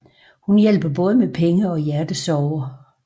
Hun hjælper både med penge og hjertesorger